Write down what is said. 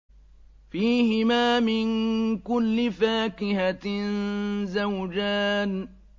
فِيهِمَا مِن كُلِّ فَاكِهَةٍ زَوْجَانِ